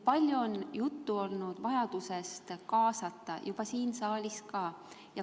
Palju on ka siin saalis juttu olnud vajadusest kogukondi kaasata.